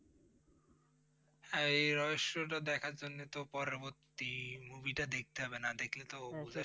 এই রহস্য টা দেখার জন্য তো পরবর্তী Movie টা দেখতে হবে, না দেখলে তো